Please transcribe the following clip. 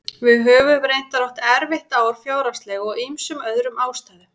Við höfum reyndar átt erfitt ár fjárhagslega og af ýmsum öðrum ástæðum.